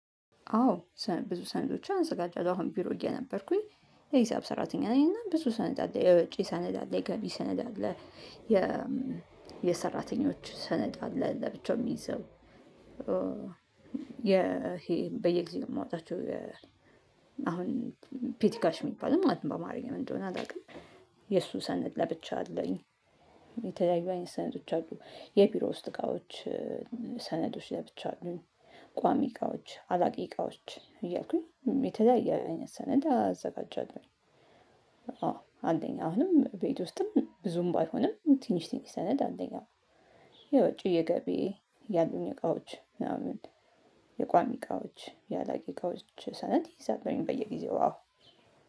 አዎ ብዙ ሰነዶችን አዘጋጃለሁ አሁን ቢሮ እየነበርኩኝ የሂሳብ ሰራተኛ ነኝ እና ብዙ ሰነድ አለ የወጭ ሰነድ ላይ የገቢ ሰነድ አለ። የሰራተኞች ሰነድ አለ ለብቻው የሚይዘው። ይሄ በየጊዜው የማወጣቸው። አሁን ፔቲካሽ የሚባልም በአማርኛ ምን እንደሆነ አላውቅም። የእሱ ሰነድ ለብቻ አለኝ። የተለያዩ አይነት ሰነዶች አሉ የቢሮ ውስጥ እቃዎች። ሰነዶች ለብቻው አሉ። ቋሚ እቃዎች አላቂ እቃዎች እያልኩኝ የተለያየ አይነት ሰነድ አዘጋጃት አዎ። አንደኛ አሁንም ቤት ውስጥም ብዙም ባይሆንም ትንሽ ትንሽ ሰነድ አለኝ ያው። የውጪ የገቢ ያሉኝ እቃዎች ምናምን የቋሚ እቃዎች የአላቂ እቃዎች ሰነድ እይዛለሁኝ በየጊዜው አዎ።